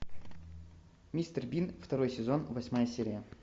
мистер бин второй сезон восьмая серия